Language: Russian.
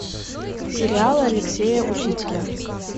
сериалы алексея учителя